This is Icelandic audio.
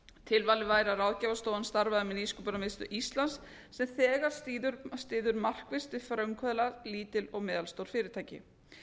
tilvalið væri að ráðgjafarstofan starfaði með nýsköpunarmiðstöð íslands sem þegar styður markvisst við frumkvöðla lítil og meðalstór fyrirtæki